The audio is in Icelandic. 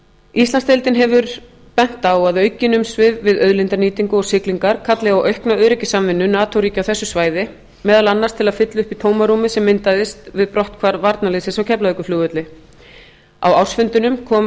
íslandsdeildin hefur bent á að aukin umsvif við auðlindanýtingu og siglingar kalli á aukna öryggissamvinnu nato ríkja á þessu svæði meðal annars til að fylla upp í tómarúmið sem myndaðist við brotthvarf varnarliðsins á keflavíkurflugvelli á ársfundinum kom